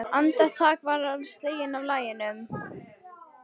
Andartak var hann sleginn út af laginu.